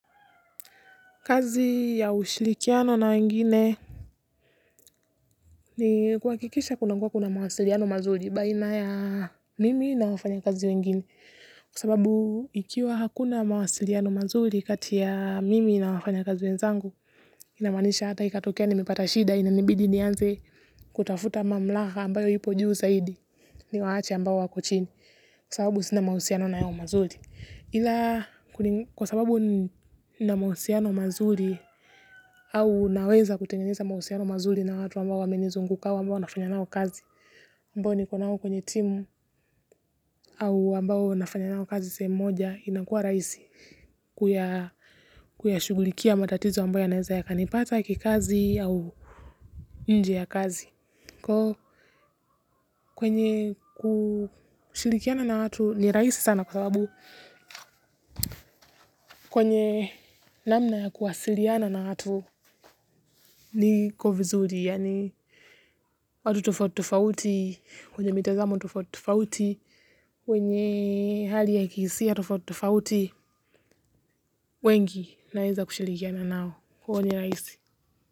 Kazi ya ushirikiano na wengine ni kuhakikisha kuna kuwa kuna mawasiliano mazuri baina ya mimi na wafanya kazi wengine kwasababu ikiwa hakuna mawasiliano mazuri kati ya mimi na wafanya kazi wenzangu inamaanisha hata ikatokea ni mepata shida inanibidi nianze kutafuta mamlaka ambayo ipo juu zaidi ni waache ambao wako chini kwasababu sinamahusiano na wao mazuri ila kwasababu nina mahusiano mazuri au naweza kutengeneza mahusiano mazuri na watu ambao wamenizunguka ambao nafanya nao kazi ambao ni konao kwenye timu au ambao nafanya nao kazi sehemu moja inakua rahisi kuyashugulikia matatizo ambayo yanaeza yakanipata kikazi au nje ya kazi kwenye kushirikiana na watu ni rahisi sana kwa sababu kwenye namna ya kuwasiliana na watu ni kovizuri yaani watu tofauti tofauti, wenye mitazamo tofauti tofauti, wenye hali ya kihisia tofauti tofauti, wengi naeza kushirikiana nao huwa ni rahisi.